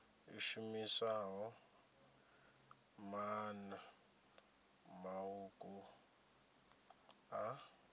i shumisaho maanḓa maṱuku a